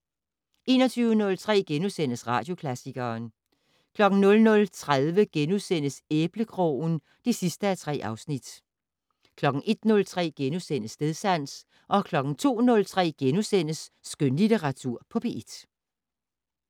21:03: Radioklassikeren * 00:30: Æblekrogen (3:3)* 01:03: Stedsans * 02:03: Skønlitteratur på P1 *